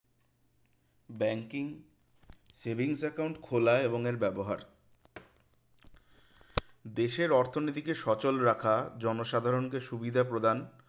banking savings account খোলা এবং এর ব্যবহার দেশের অর্থনীতিকে সচল রাখা জনসাধারণকে সুবিধা প্রদান